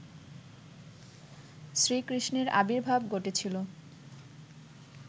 শ্রীকৃষ্ণের আবির্ভাব ঘটেছিল